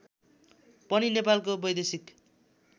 पनि नेपालको वैदेशिक